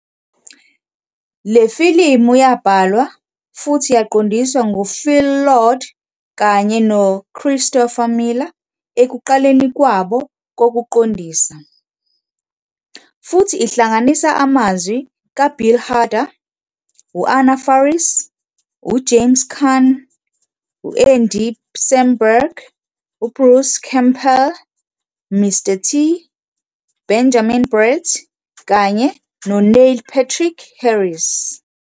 Le filimu yabhalwa futhi yaqondiswa nguPhil Lord kanye noChristopher Miller ekuqaleni kwabo kokuqondisa, futhi ihlanganisa amazwi kaBill Hader, Anna Faris, James Caan, Andy Samberg, Bruce Campbell, Mr. T, Benjamin Bratt, kanye noNeil Patrick Harris.